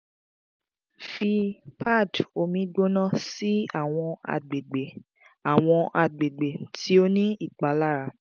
fi pad omi gbona si awọn agbegbe awọn agbegbe ti o ni ipalara